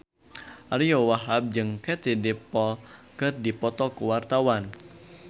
Ariyo Wahab jeung Katie Dippold keur dipoto ku wartawan